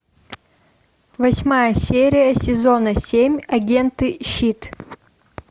восьмая серия сезона семь агенты щит